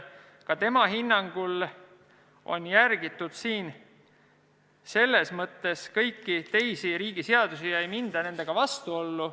Ka tema hinnangul on siin järgitud selles mõttes kõiki teisi riigi seadusi ega minda nendega vastuollu.